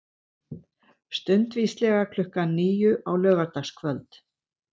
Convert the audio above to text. Stundvíslega klukkan níu á laugardagskvöld.